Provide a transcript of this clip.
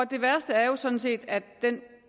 det værste er jo sådan set at den